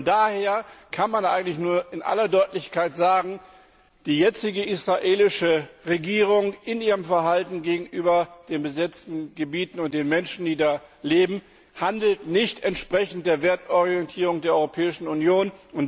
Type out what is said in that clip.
Daher kann man eigentlich nur in aller Deutlichkeit sagen, die jetzige israelische Regierung handelt in ihrem Verhalten gegenüber den besetzten Gebieten und den Menschen, die da leben, nicht entsprechend der Wertorientierung der Europäischen Union.